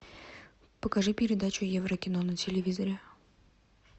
покажи передачу еврокино на телевизоре